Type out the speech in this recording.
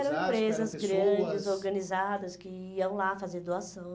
eram pessoas... Eram empresas grandes, organizadas, que iam lá fazer doação.